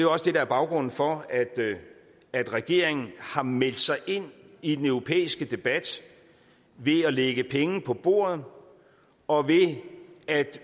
også det der er baggrunden for at regeringen har meldt sig ind i den europæiske debat ved at lægge penge på bordet og ved at